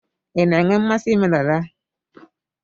Ị na-enwe mmasị ime dada?